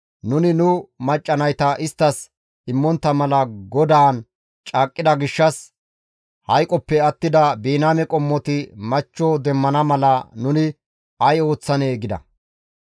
Nuni nu macca nayta isttas immontta mala GODAAN caaqqida gishshas hayqoppe attida Biniyaame qommoti machcho demmana mala nuni ay ooththanee?» gida.